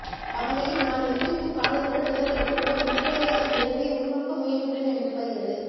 அவ்வகையில் நான் நின்றிருக்கும் காலத்துடன் இவர்களுக்கு ஓர் இன்றியமையாத இணைப்பை உருவாக்க முயன்றுள்ள்ளேன் என்று படுகிறது